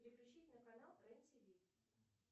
переключи на канал рен тв